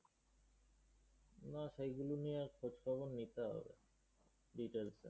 না, সেইগুলো নিয়ে খোঁজ খবর নিতে হবে।